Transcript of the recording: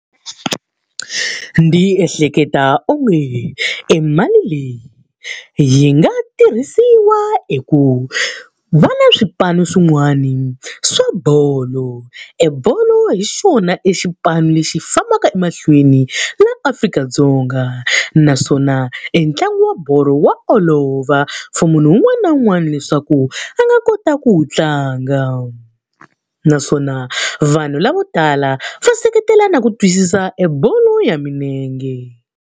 Ndzi ehleketa onge emali leyi yi nga tirhisiwa eku va na swipanu swin'wana swa bolo. Ebolo hi xona e xipano lexi fambaka emahlweni laha Afrika-Dzonga. Naswona entlangu wa bolo wa olova for munhu un'wana na un'wana leswaku a nga kota ku wu tlanga. Naswona vanhu lavo tala va seketela na ku twisisa ebolo ya milenge.